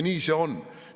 Nii see on.